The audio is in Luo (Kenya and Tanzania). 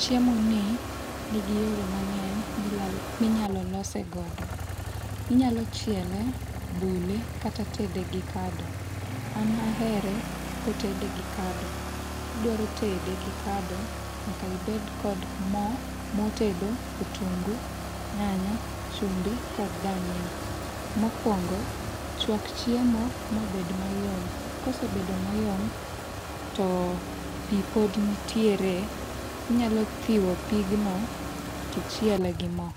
Chiemoni nigi yore mang'eny milalo minyalo lose godo. Inyalo chiele, bule kata tede gi kado. An ahere kotede gi kado. Kidwaro tede gi kado nyaka ibed kod mo, mor tedo, otungu, nyanya, chumbi kod dania. Mokuongo chuak chiemo ma bed mayom. Kosebedo mayom to pi pod nitiere, inyalo thiwo pigno to ichiele gi mo.